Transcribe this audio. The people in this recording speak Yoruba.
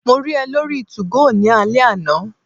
Mo rí ẹ lórí 2go ní alẹ́ àná